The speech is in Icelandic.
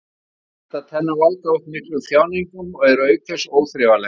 Skemmdar tennur valda oft miklum þjáningum og eru auk þess óþrifalegar.